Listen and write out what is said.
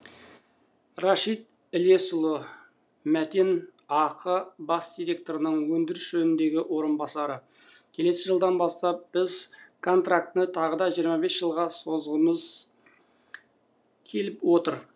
рашид ілесұлы мәтен ақ бас директорының өндіріс жөніндегі орынбасары келесі жылдан бастап біз контрактіні тағы да жиырма бес жылға созғызғымыз келіп отыр